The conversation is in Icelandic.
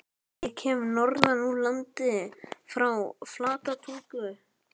Ég kem norðan úr landi- frá Flatatungu.